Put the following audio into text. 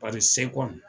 Paseke seko